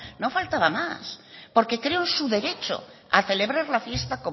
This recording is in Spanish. no faltaba más porque creo en su derecho a celebrar la fiesta